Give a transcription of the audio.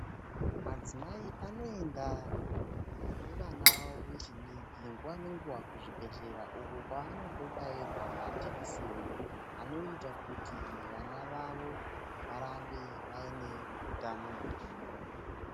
Madzimai anoenda nevana vavo vechidiki nguwa nenguwa kuchibhedhlera uko kwaanondobairwa majekiseni anoita kuti vana vavo varambe vane utano hwakanaka.